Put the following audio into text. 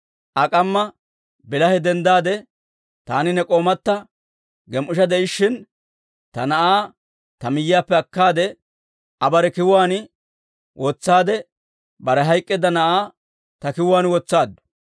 Aa k'amma bilahe denddaade, taani ne k'oomatta gem"ishsha de'ishshin, ta na'aa ta miyyiyaappe akkaade Aa bare kiwuwaan wotsaade, bare hayk'k'eedda na'aa ta kiwuwaan wotsaaddu.